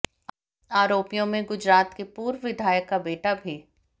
आरोपियों में गुजरात के पूर्व विधायक का बेटा भी